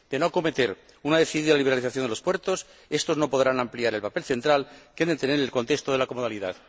De no acometer una decidida liberalización de los puertos, estos no podrán ampliar el papel central que han de tener en el contexto de la comodalidad.